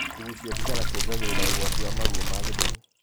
Kugucia thigara kuongagirira ugwati wa maruo ma gĩthũri